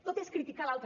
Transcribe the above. tot és criticar l’altre